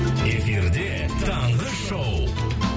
эфирде таңғы шоу